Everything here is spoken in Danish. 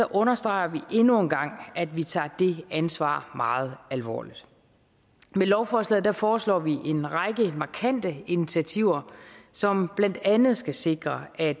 understreger vi endnu engang at vi tager det ansvar meget alvorligt med lovforslaget foreslår vi en lang række markante initiativer som blandt andet skal sikre at